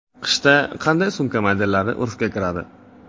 Qishda qanday sumka modellari urfga kiradi?